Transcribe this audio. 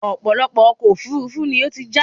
ọ̀pọ̀lọpọ̀ ọkọ̀ òfurufú ni ó ti já